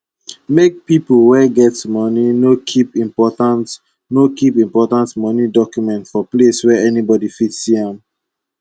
make pipo wey get moni no kip important no kip important moni documents for place wey anybody fit see am